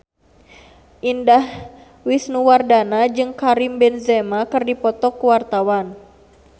Indah Wisnuwardana jeung Karim Benzema keur dipoto ku wartawan